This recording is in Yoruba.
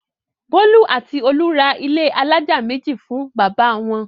Bólú àti Olú ra ilé alájà méjì fún bàbá wọn.